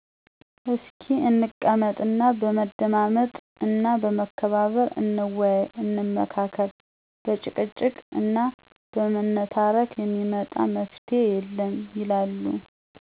"እስኪ እንቀመጥ እና በመደማመጥ እና በመከባበር እንወያይ፣ እንመካከር በጭቅጭቅ እና በመነታረክ እሚመጣ መፍትሄ የለም" ይላሉ።